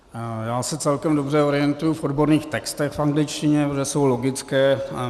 Já se celkem dobře orientuji v odborných textech v angličtině, protože jsou logické.